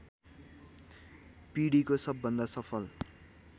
पीढीको सबभन्दा सफल